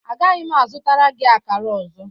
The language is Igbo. Agaghị m azụtara gị akara ọzọ.